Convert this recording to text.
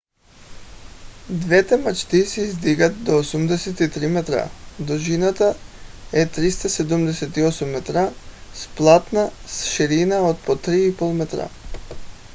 двете мачти се издигат до 83 метра дължината е 378 метра с 2 платна с ширина от по 3,50 метра